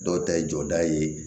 Dɔw ta ye jɔda ye